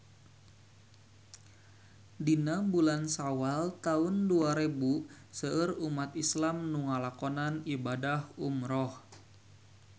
Dina bulan Sawal taun dua rebu seueur umat islam nu ngalakonan ibadah umrah